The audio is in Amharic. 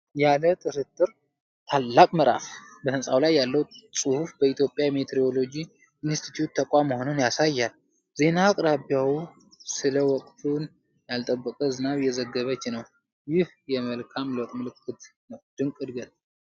ያለ ጥርጥር ታላቅ ምዕራፍ! በህንጻው ላይ ያለው ጽሑፍ በኢትዮጵያ ሚቲዎሮሎጂ ኢንስቲትዩት ተቋም መሆኑን ያሳያል! ዜና አቅራቢዋም ስለ ወቅቱን ያልጠበቀ ዝናብ እየዘገበች ነው። ይህ የመልካም ለውጥ ምልክት ነው! ድንቅ ዕድገት!